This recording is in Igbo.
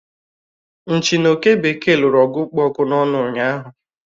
Nchị na Oke bekee lụrụ ọgụ kpụ ọkụ n'ọnụ ụnyaahụ